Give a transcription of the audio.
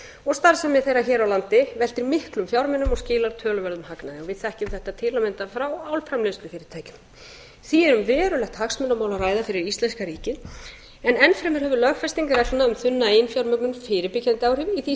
og starfsemi þeirra hér á landi veltir miklum fjármunum og skilar töluverðum hagnaði við þekkjum þetta til að mynda frá álframleiðslufyrirtækjunum því er um verulegt hagsmunamál að ræða fyrir íslenska ríkið en enn fremur hefur lögfesting reglna um þunna eiginfjármögnun fyrirbyggjandi áhrif í því